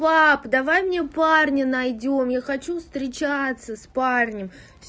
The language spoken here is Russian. пап давай мне парня найдём я хочу встречаться с парнем